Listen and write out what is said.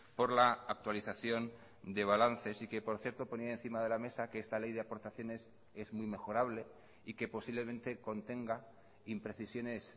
por la actualización de balances y que por cierto ponía encima de la mesa que esta ley de aportaciones es muy mejorable y que posiblemente contenga imprecisiones